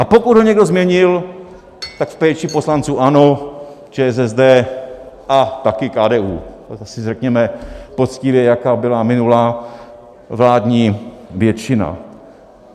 A pokud ho někdo změnil, tak v péči poslanců ANO, ČSSD - a taky KDU, to si řekněme poctivě, jaká byla minulá vládní většina.